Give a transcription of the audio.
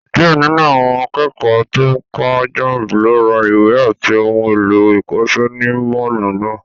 Díẹ̀ nínú àwọn akẹ́kọ̀ọ́ tó ń kọ jamb ló ra ìwé àti ohun èlò ìkọ́ṣẹ́ ní Mọ́ọ̀lù náà